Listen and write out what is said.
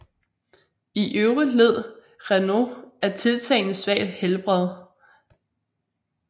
I øvrigt led Renault af tiltagende svagt helbred